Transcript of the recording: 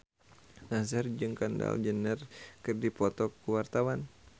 Nassar jeung Kendall Jenner keur dipoto ku wartawan